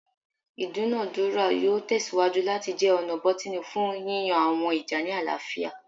Idunadura yoo tẹsiwaju lati jẹ ọna bọtini fun yiyan awọn ija ni alaafia